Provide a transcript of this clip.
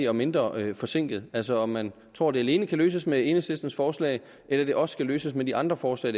og mindre forsinket altså om man tror at det alene kan løses med enhedslistens forslag eller det også kan løses med de andre forslag